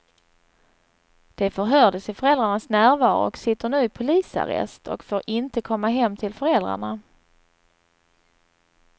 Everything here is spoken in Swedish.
De förhördes i föräldrarnas närvaro och sitter nu i polisarrest och får inte komma hem till föräldrarna.